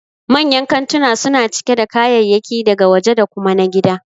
Manyan kantuna suna cike da kayayyaki daga waje da kuma na gida